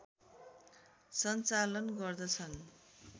सञ्चालन गर्दछ्न्